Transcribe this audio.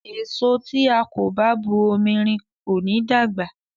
Èso tí a kò bá bu omi rin ò ní dàgbà.